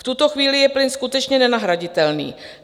V tuto chvíli je plyn skutečně nenahraditelný.